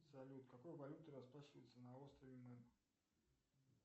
салют какой валютой расплачиваются на острове мэн